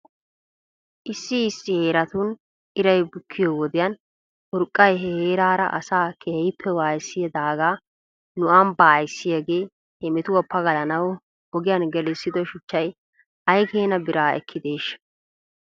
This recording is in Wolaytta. Issi issi heeratun iray bukkiyoo wodiyan urqqay he heeraara asaa keehippe waayissidaagaa nu ambbaa ayssiyaagee he metuwaa pagalanaw ogiyan gelissido shuchchay ay keena biraa ekkideeshsha?